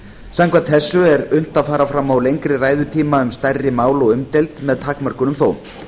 samkvæmt þessu er unnt að fara fram á lengri ræðutíma um stærri mál og umdeild með takmörkunum þó